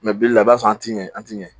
Mɛ bilila i b'a sɔrɔ an t'i ɲɛ an t'i ɲɛ